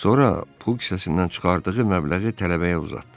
Sonra pul kisəsindən çıxardığı məbləği tələbəyə uzatdı.